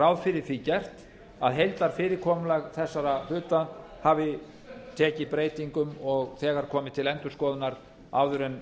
ráð fyrir því gert að heildarfyrirkomulag þessara hluta hafi tekið breytingum og þegar komið til endurskoðunar áður en